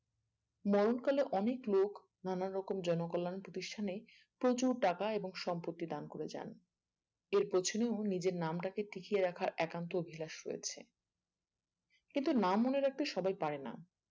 মরণকালে অনেক লোক নানারকম জনকল্যাণ প্রতিষ্ঠানে প্রচুর টাকা এবং সম্পত্তি দান করে যান আর পেছনেও নিজের নামটাকে টিকিয়ে রাখার একান্ত অভিলাষ রয়েছে কিন্তু না মনে রাখতে সবাই পারে না